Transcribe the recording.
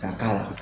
Ka k'a la